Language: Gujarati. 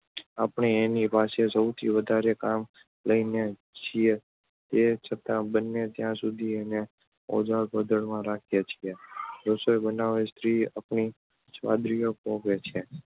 આપણે એની પાસે સૌથી વધારે કામ લઈએ છીએ તે છતાં બને ત્યાં સુધી એને ઓઝલ પડદામાં રાખીએ છીએ. રસોઈ બનાવીને સ્ત્રી આપણી સ્વાદવૃત્તિ પોગે છે